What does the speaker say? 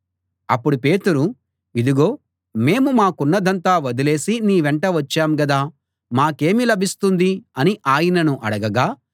అప్పుడు పేతురు ఇదిగో మేము మాకున్నదంతా వదిలేసి నీ వెంట వచ్చాం గదా మాకేమి లభిస్తుంది అని ఆయనను అడగగా